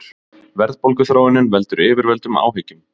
Verðbólguþróunin veldur yfirvöldum áhyggjum